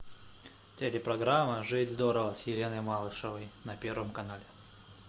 телепрограмма жить здорово с еленой малышевой на первом канале